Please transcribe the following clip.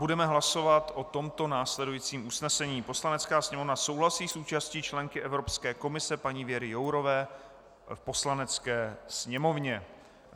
Budeme hlasovat o tomto následujícím usnesení: "Poslanecká sněmovna souhlasí s účastí členky Evropské komise, paní Věry Jourové, v Poslanecké sněmovně."